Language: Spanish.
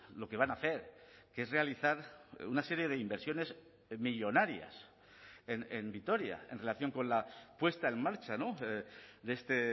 lo que van a hacer que es realizar una serie de inversiones millónarias en vitoria en relación con la puesta en marcha de este